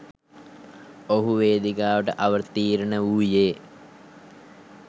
ඔහු වේදිකාවට අවතීර්ණ වූයේ.